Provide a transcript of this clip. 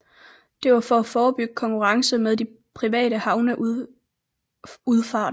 Det var for at forebygge konkurrence med de private havnerundfarter